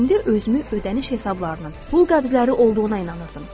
Mən indi özümü ödəniş hesablarının pul qəbzləri olduğuna inandırırdım.